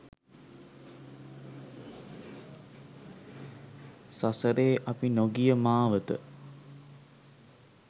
සසරේ අපි නොගිය මාවත